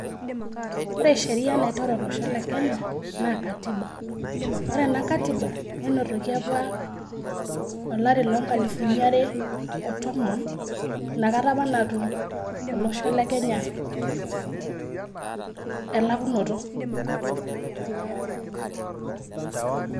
Ore sheria naitore olosho lee Kenya naa Katiba. Ore ena katiba nenotoki apa olari loo nkalifuni are oo tomon. Inakata apa natum olosho le Kenya elakunoto.